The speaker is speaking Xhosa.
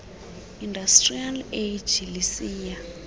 industrial age lisiya